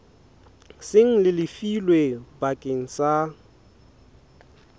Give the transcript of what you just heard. seng le lefilwe bakeng sa